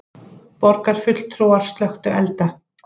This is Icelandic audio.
Borgarfulltrúar slökktu elda